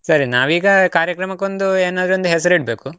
ಸರಿ, ನಾವೀಗ ಕಾರ್ಯಕ್ರಮಕ್ಕೊಂದು ಏನಾದ್ರೂ ಒಂದು ಹೆಸರಿಡ್ಬೇಕು.